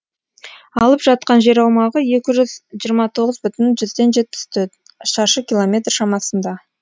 алып жатқан жер аумағы екі жүз жиырма тоғыз бүтін жүзден жетпіс төрт шаршы километр шамасында